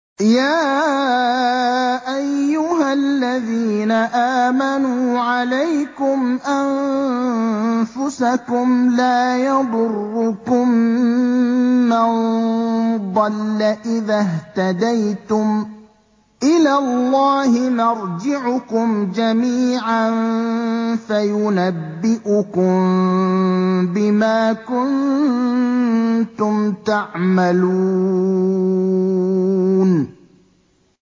يَا أَيُّهَا الَّذِينَ آمَنُوا عَلَيْكُمْ أَنفُسَكُمْ ۖ لَا يَضُرُّكُم مَّن ضَلَّ إِذَا اهْتَدَيْتُمْ ۚ إِلَى اللَّهِ مَرْجِعُكُمْ جَمِيعًا فَيُنَبِّئُكُم بِمَا كُنتُمْ تَعْمَلُونَ